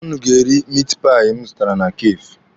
Ụnụ ga-eri mit pai m zụtara na kafee.